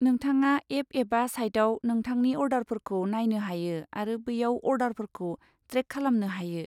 नोंथाङा एप एबा साइटआव नोंथांनि अर्डारफोरखौ नायनो हायो आरो बैयाव अर्डारफोरखौ ट्रेक खालामनो हायो।